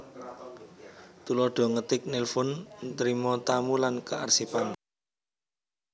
Tuladha ngetik nelfon ntrima tamu lan kearsipan